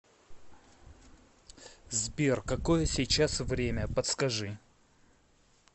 сбер какое сейчас время подскажи